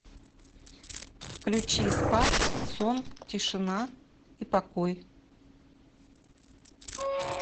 включи спать сон тишина и покой